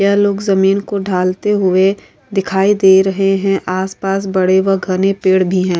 यह लोग जमीन को ढालते हुए दिखाई दे रहे है आस पास घने व बड़े पेड़ भी है।